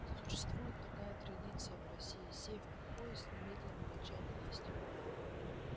существует такая традиция в россии сев в поезд немедленно начать есть